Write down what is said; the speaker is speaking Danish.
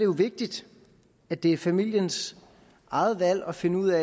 jo vigtigt at det er familiens eget valg at finde ud